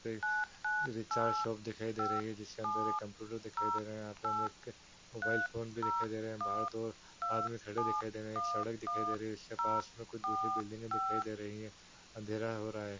Recharge shop दिखाई दे रही है जिसके अंदर एक कंप्यूटर दिखाई दे रहा है यहाँ पे हमे एक मोबाइल फोन भी दिखाई दे रहा है बाहर दो आदमी खड़े दिखाई दे रहे हैं एक सड़क दिखाई दे रही है उसके पास में कुछ दूसरी बिल्डिंगे दिखाई दे रही है अँधेरा हो रहा है।